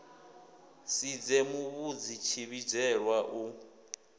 si dze muvhidzi tshivhidzelwa u